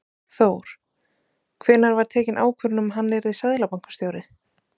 Þór: Hvenær var tekin ákvörðun um að hann yrði seðlabankastjóri?